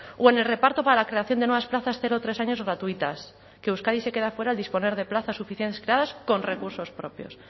o en el reparto para la creación de nuevas plazas cero tres años gratuitas que euskadi se queda fuera al disponer de plazas suficientes creadas con recursos propios